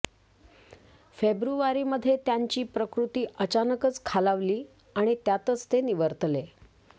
फेब्रुवारीमध्ये त्यांची प्रकृती अचानकच खालावली आणि त्यातच ते निवर्तले